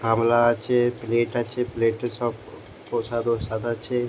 গামলা আছে প্লেট আছে প্লেট এ সব প প্রসাদ ওসাদ আছে --